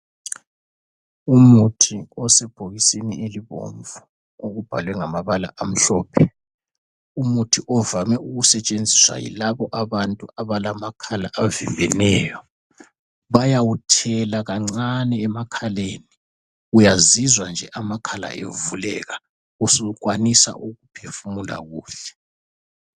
Umuthi osebhokisini elibomvu okubhalwe ngamabala amhlophe. Umuthi ovame ukusetshenziswa yilabo abantu abalamakhala avimbeneyo. Bayawuthela kancane emakhaleni uyazizwa nje amakhala evuleka usukwanisa ukuphefumula kuhle.